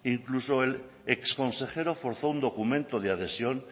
incluso el exconsejero forzó un documento de adhesión